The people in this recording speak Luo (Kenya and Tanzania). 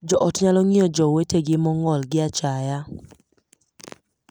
Joot nyalo ng'iyo jowetegi mong'ol gi achaya.